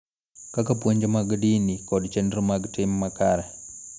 Kaka puonj mag din kod chenro mag tim makare